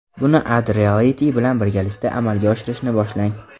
Buni AddReality bilan birgalikda amalga oshirishni boshlang.